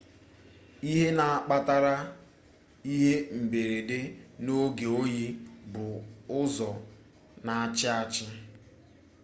ihe na akpatakarị ihe mberede n'oge oyi bụ ụzọ n'achị achị